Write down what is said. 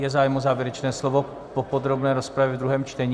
Je zájem o závěrečné slovo po podrobné rozpravě v druhém čtení?